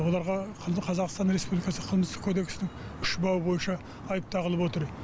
оларға қазақстан республикасы қылмыстық кодексінің үш бабы бойынша айып тағылып отыр